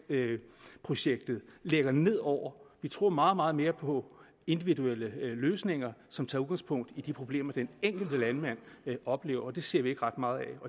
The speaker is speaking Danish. projektet lægger ned over vi tror meget meget mere på individuelle løsninger som tager udgangspunkt i de problemer den enkelte landmand oplever og det ser vi ikke ret meget af